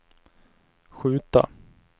skjuta